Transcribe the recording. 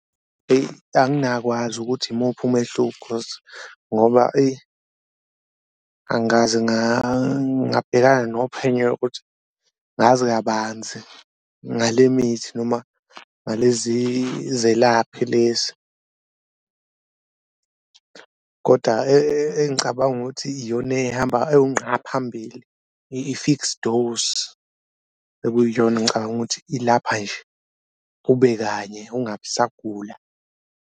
Eyi anginakwazi ukuthi imuphi umehluko cause ngoba eyi angikaze ngabhekana nophenyo ngazi kabanzi ngale mithi noma ngalezi zelaphi lezi, koda engicabanga ukuthi iyona ehamba ewunqa phambili i-fix dose okuyiyona engicabanga ukuthi ilapha nje ube kanye ungabi usagula.